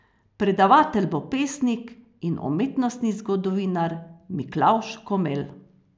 Predavatelj bo pesnik in umetnostni zgodovinar Miklavž Komelj.